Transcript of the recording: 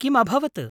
किम् अभवत्?